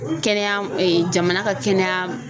Kɛnɛya jamana ka kɛnɛya